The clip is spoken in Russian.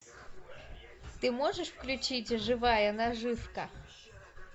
ты можешь включить живая наживка